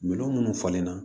Minɛn minnu falen na